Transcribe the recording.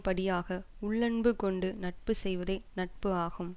படியாக உள்ளன்பு கொண்டு நட்பு செய்வதே நட்பு ஆகும்